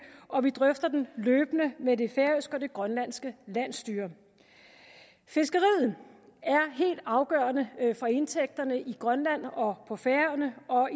og vi drøfter den løbende med det færøske og det grønlandske landsstyre fiskeriet er helt afgørende for indtægterne i grønland og på færøerne og